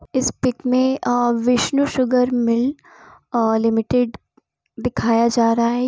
इस पिक मे uh Vishnu sugar milk uh limited दिखाया जा रहा हैं।